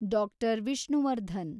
doctor Vishnuvardhan